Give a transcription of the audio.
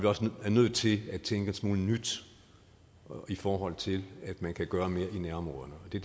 også nødt til at tænke en smule nyt i forhold til at man kan gøre mere i nærområderne og det